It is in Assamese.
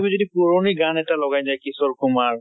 তুমি যদি পুৰণি গান এটা লগাই দিয়া কিশোৰ কুমাৰ